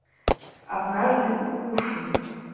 однажды укушенный